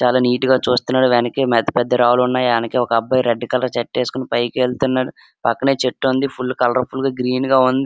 చాలా నీట్ గ చూస్తున్నాడు వెనకే పెద్ద పెద్ద రాళ్లు ఉన్నాయి వెనకే ఒకబ్బాయి రెడ్ కలర్ షర్ట్ ఏసుకొని పైకి వెళుతున్నాడు పక్కనే చెట్టుంది ఫుల్ కలర్ ఫుల్ గ గ్రీన్ గా ఉంది.